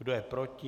Kdo je proti?